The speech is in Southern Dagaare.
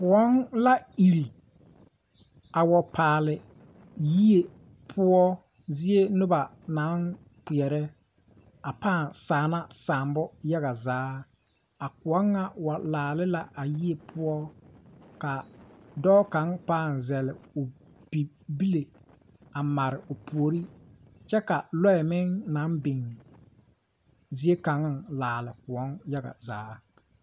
Koɔ la iri a wa paale yie poɔ zie noba naŋ kpeɛrɛ pãã saana saabo yaga zaa a kõɔ ŋa wa laali la a yie poɔ ka dɔɔ kaŋ pãã a zɛle bibile a mare o puori kyɛ ka loɛ meŋ naŋ biŋ ziekaŋa laali kõɔ yaga zaa.